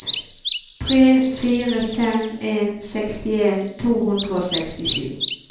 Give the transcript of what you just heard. tre fire fem en sekstien to hundre og sekstisju